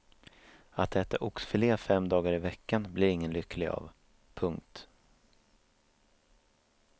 Att äta oxfilé fem dagar i veckan blir ingen lycklig av. punkt